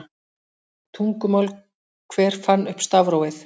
Tungumál Hver fann upp stafrófið?